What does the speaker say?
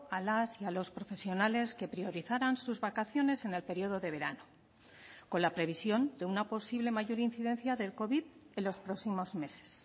a las y a los profesionales que priorizaran sus vacaciones en el periodo de verano con la previsión de una posible mayor incidencia del covid en los próximos meses